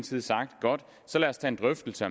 side sagt godt så lad os tage en drøftelse